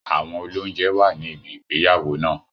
Àwọn olóunjẹ wà ní ibi ìgbéyàwó náà